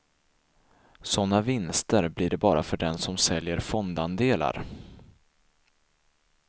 Sådana vinster blir det bara för den som säljer fondandelar.